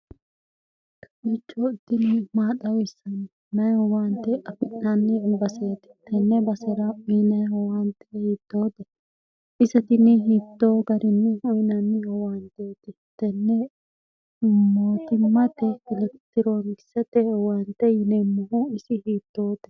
kalichoo tini maaxawissanni mayi howaante afi'naanni ubaseeti tenne basera miinae howaante hiittoote isa tini hiittoo garinni hawinanni howaanteeti tenne mootimmate kilektiroonikisate howaante yineemmohu isi hiittoote